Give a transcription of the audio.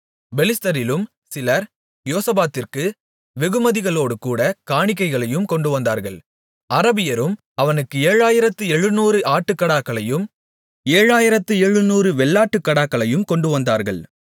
பெலிஸ்தரிலும் சிலர் யோசபாத்திற்கு வெகுமதிகளோடுகூடக் காணிக்கைகளையும் கொண்டுவந்தார்கள் அரபியரும் அவனுக்கு ஏழாயிரத்து எழுநூறு ஆட்டுக்கடாக்களையும் ஏழாயிரத்து எழுநூறு வெள்ளாட்டுக்கடாக்களையும் கொண்டுவந்தார்கள்